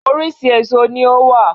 Orísìí èso ní ó wà